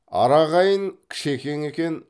ара ағайын кішекең екен